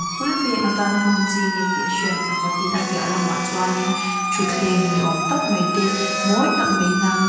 eng atana hman chi nge tih a hriat loh ah tin a piah lamah chuanin thuthleng ni awm mai te mawi tak mai hnang ata--